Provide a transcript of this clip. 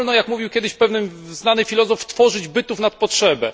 Nie wolno, jak mówił kiedyś pewien znany filozof, tworzyć bytów nad potrzebę.